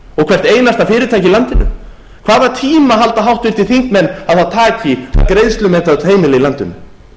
hvert einasta fyrirtæki í landinu hvaða tíma halda háttvirtir þingmenn að það taki að greiðslumeta öll heimili í landinu